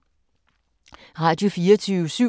Radio24syv